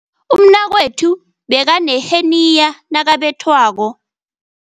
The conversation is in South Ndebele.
Umnakwethu bekaneheniya nakabethwako